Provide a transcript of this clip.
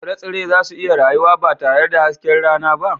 Shin tsire-tsire za su iya rayuwa ba tare da hasken rana ba?